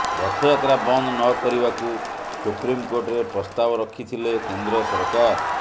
ରଥଯାତ୍ରା ବନ୍ଦ ନକରିବାକୁ ସୁପ୍ରମିକୋର୍ଟରେ ପ୍ରସ୍ତାବ ରଖିଥିଲେ କେନ୍ଦ୍ର ସରକାର